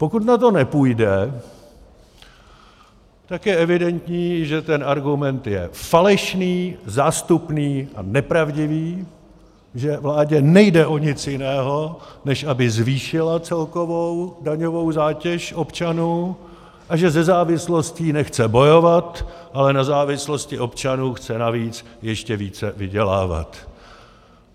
Pokud na to nepůjde, tak je evidentní, že ten argument je falešný, zástupný a nepravdivý, že vládě nejde o nic jiného, než aby zvýšila celkovou daňovou zátěž občanů, a že se závislostí nechce bojovat, ale na závislosti občanů chce navíc ještě více vydělávat...